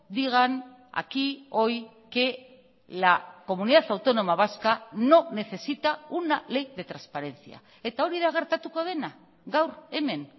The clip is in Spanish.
digan aquí hoy que la comunidad autónoma vasca no necesita una ley de transparencia eta hori da gertatuko dena gaur hemen